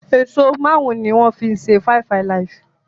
Èso márùn ní wón fí ṣe five alive.